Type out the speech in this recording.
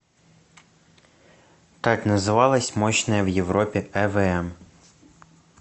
как называлась мощная в европе эвм